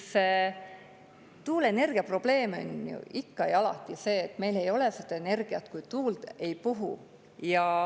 Aga tuuleenergia probleem on ju ikka ja alati see, et meil ei ole seda energiat, kui tuul ei puhu.